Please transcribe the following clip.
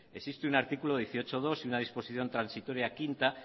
existe un artículo dieciocho punto dos y una disposición transitoria quinta